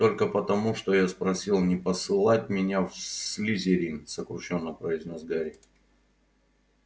только потому что я спросил не посылать меня в слизерин сокрушённо произнёс гарри